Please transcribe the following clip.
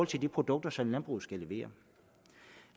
til de produkter som landbruget skal levere